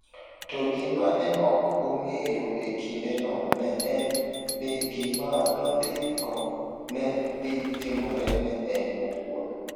To gima ne ok ong’eyo e kindeno ne en ni gima nondiko ne dhi timore ne en owuon.